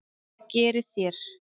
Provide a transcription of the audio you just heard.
Hvað gerið þér?